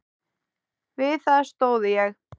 Við það stóð ég.